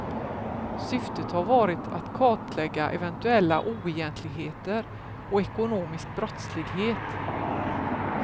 Syftet har varit att kartlägga eventuella oegentligheter och ekonomisk brottslighet.